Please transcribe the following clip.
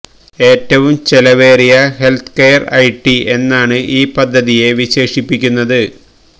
ഏറ്റവും ചെലവേറിയ healthcare IT ളമശഹൌൃല എന്നാണ് ഈ പദ്ധതിയെ വിശേഷിപ്പിക്കുന്നത്